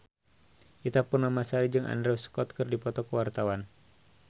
Ita Purnamasari jeung Andrew Scott keur dipoto ku wartawan